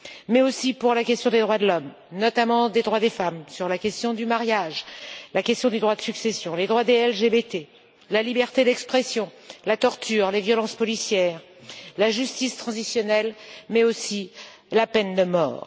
Mais aussi sur la question des droits de l'homme, notamment des droits des femmes, sur la question du mariage, la question des droits de succession, les droits des LGBT, la liberté d'expression, la torture, les violences policières, la justice transitionnelle, mais aussi la peine de mort.